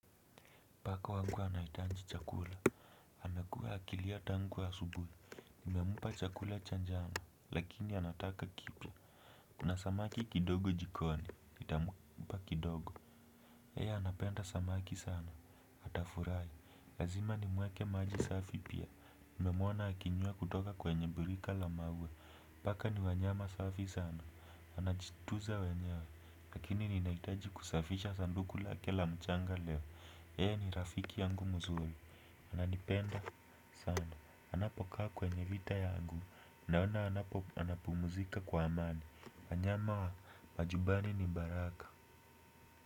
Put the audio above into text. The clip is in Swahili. Paka wangu anahitaji chakula. Amekuwa akilia tangu asubuhi. Nimempa chakula cha jana. Lakini anataka kipya. Kuna samaki kidogo jikoni. Nitampa kidogo. Yeye anapenda samaki sana. Atafurahi. Lazima nimwekee maji safi pia. Nimemwona akinywea kutoka kwenye birika la maua. Paka ni wanyama safi sana. Anajituza wenyewa. Lakini ninahitaji kusafisha sanduku lake la mchanga leo. Yeye ni rafiki yangu mzuri, ananipenda sana anapokaa kwenye vita yangu, naona anapumzika kwa amani wanyama, wa majumbani ni baraka.